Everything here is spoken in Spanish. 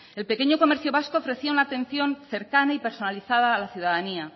el pequeño comercio vasco ofrecía una atención cercana y personalizada a la ciudadanía